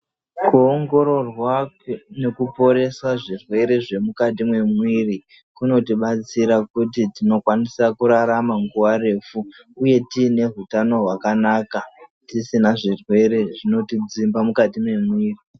Kuongororwa nekuporesa zvirwere zvemukati memwiri kunotibatsira kuti tinokwanisa kurarama nguwa refu uye tiyine hutano hwakanaka, tisina zvirwere zvinotidzimba mukati memwiri.